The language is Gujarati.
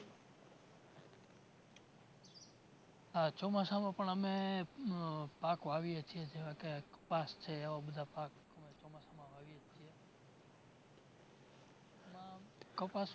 ઉહ ચોમાસામાં પણ અમે ઉહ પાક વાવીએ છે. જેવા કે કપાસ છે એવા બધા પાક ચોમાસામાં વાવીએ છે. એમાં કપાસ